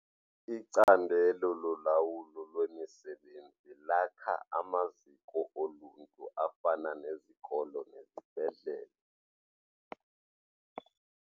Icandelo lolawulo lwemisebenzi lakha amaziko oluntu afana nezikolo nezibhedlele.